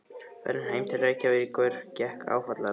Ferðin heim til Reykjavíkur gekk áfallalaust.